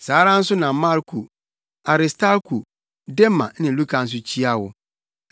Saa ara nso na Marko, Aristarko, Dema ne Luka nso kyia wo.